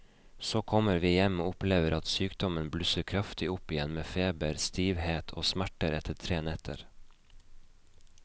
Så kommer vi hjem og opplever at sykdommen blusser kraftig opp igjen med feber, stivhet og smerter etter tre netter.